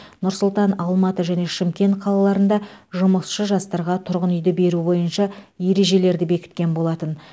нұр сұлтан алматы және шымкен қалаларында жұмысшы жастарға тұрғын үйді беру бойынша ережелерді бекіткен болатын